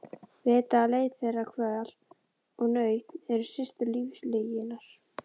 Vita að leit þeirra, kvöl og nautn eru systur lífslyginnar.